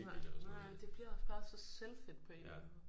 Nej nej men det bliver også bare så selvfedt på en eller anden måde